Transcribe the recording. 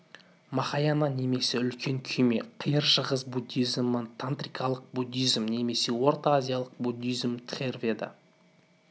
махаяна немесе үлкен күйме қиыр шығыс буддизмі тантрикалық буддизм немесе орта азиялық буддизм тхераведа